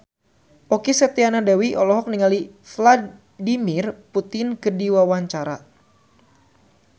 Okky Setiana Dewi olohok ningali Vladimir Putin keur diwawancara